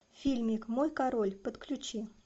фильмик мой король подключи